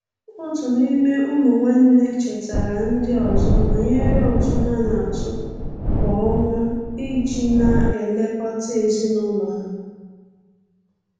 Otu n'ime ụmụ nwanne chetaara ndị ọzọ banyere ụtụ ha na-atụ kwa ọnwa iji na-elekọta ezinụlọ ha.